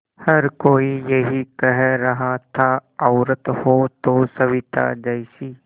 हर कोई यही कह रहा था औरत हो तो सविताजी जैसी